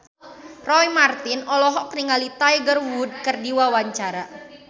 Roy Marten olohok ningali Tiger Wood keur diwawancara